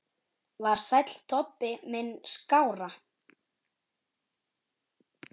Var Sæll Tobbi minn skárra?